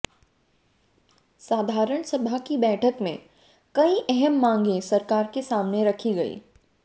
साधारण सभा की बैठक में कई अहम मांगें सरकार के सामने रखी गई